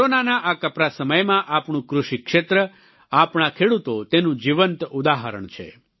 કોરોનાના આ કપરા સમયમાં આપણું કૃષિ ક્ષેત્ર આપણા ખેડૂતો તેનું જીવંત ઉદાહરણ છે